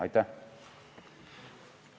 Aitäh!